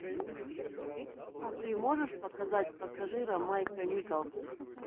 ты можешь показать пассажира майка николса